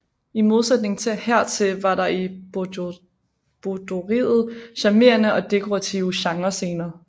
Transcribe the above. I modsætning hertil var der i boudoiret charmerende og dekorative genrescener